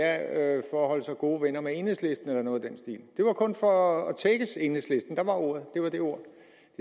at holde sig gode venner med enhedslisten eller noget i den stil det var kun for at tækkes enhedslisten det var det ord